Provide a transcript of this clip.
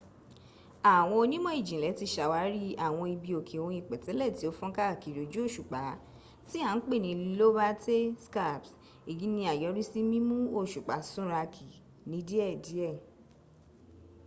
àwọn onímò-ìjìnlẹ ti sàwárí àwọn ibi òkè ohun ìpètélè ti o fónká kiri ojú òsùpá ti a n pẹ ni lobate scarps èyí ni àyọrìsí mímú òsùpá súnrakí ní díè díè